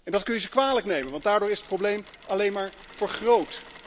Dat kun je ze kwalijk nemen, want daardoor is het probleem alleen maar vergroot.